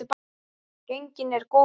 Gengin er góð kona.